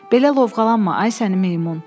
Belə lovğalanma, ay sənin meymun!”